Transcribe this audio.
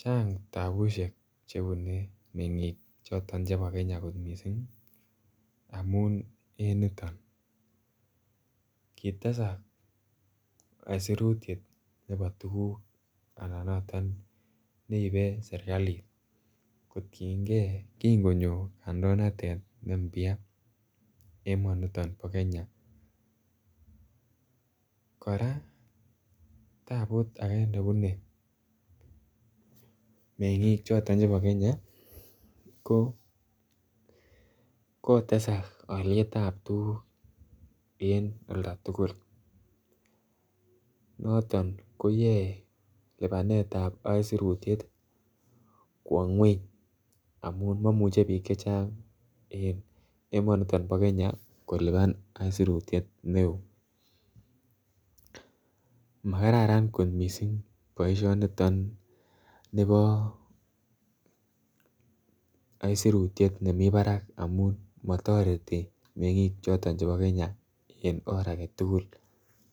chang tapusiek Che bune mengik chebo kenya kot mising amun en niton kitesak aisurut nebo tuguk anan neibe serkalit kotienge kin konyo kandoinatet noton ne impya emonito bo Kenya kora taput age nebune mengik choton chebo kenya ko kotesak alyet nebo tuguk en oldo tugul noton koyoe lipanetap aisurut kwo ngwony amun mamuche bik Che Chang en emonito bo Kenya kolipan aisurut neo makararan kot mising boisinoto bo aisurut nemi barak amun motoreti mengik choton chebo kenya en or age tugul